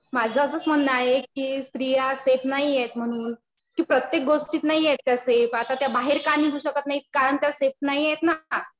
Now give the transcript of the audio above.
माझं असंच म्हणणं आहे कि स्त्रिया सेफ नाहीयेत म्हणून. कि प्रत्येक गोष्टीत नाहीयेत त्या सेफ. आता त्या बाहेर का निघू शकत नाहीत कारण त्या सेफ नाहीयेत ना.